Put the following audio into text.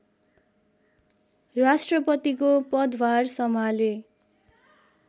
राष्ट्रपतिको पदभार सम्हाले